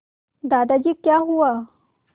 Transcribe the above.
दादाजी क्या हुआ